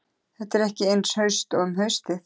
Þetta er ekki eins haust og um haustið.